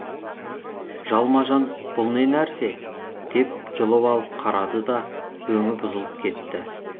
жалма жан бұл не нәрсе деп жұлып алып қарады да өңі бұзылып кетті